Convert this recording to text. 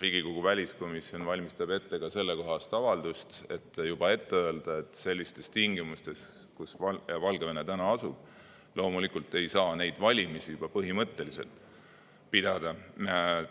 Riigikogu väliskomisjon valmistab ette ka sellekohast avaldust, et juba ette öelda, et sellistes tingimustes, kus Valgevene täna asub, loomulikult ei saa neid valimisi juba põhimõtteliselt pidada